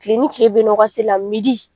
Kile ni kile ben na o wagati la midi.